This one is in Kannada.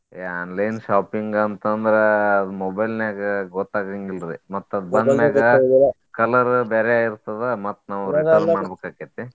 ಏ online shopping ಅಂತ್ ಅಂದ್ರ ಅದ್ mobile ನ್ಯಾಗ ಗೊತ್ತಾಗಂಗಿಲ್ರಿ ಮತ್ತ್ ಅದ್ ಬಂದ್ ಮ್ಯಾಗ colour ಬ್ಯಾರೆ ಆಗಿರ್ತದ ಮತ್ತ್ ನಾವ್ return ಮಾಡ್ಬೇಕ್ ಆಕ್ಕೇತಿ.